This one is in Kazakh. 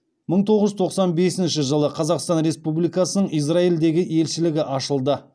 мың тоғыз жүз тоқсан бесінші жылы қазақстан республикасының израильдегі елшілігі ашылды